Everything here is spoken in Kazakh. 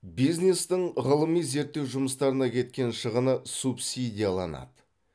бизнестің ғылыми зерттеу жұмыстарына кеткен шығыны субсидияланады